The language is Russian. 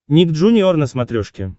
ник джуниор на смотрешке